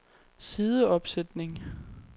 sideopsætning